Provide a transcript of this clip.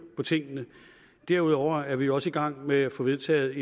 på tingene derudover er vi også i gang med at få vedtaget